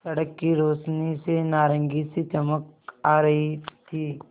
सड़क की रोशनी से नारंगी सी चमक आ रही थी